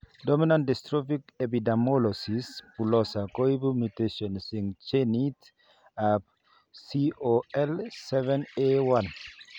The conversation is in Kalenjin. Dominant dystrophic epidermolysis bullosa koibu mutations eng' genit ab COL7A1